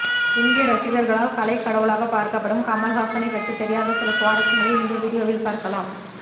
இந்திய ரசிகர்களால் கலை கடவுளாக பார்க்கப்படும் கமல் ஹாசனை பற்றி தெரியாத சில ஸ்வாரசயங்களை இந்த வீடியோவில் பார்க்கலாம்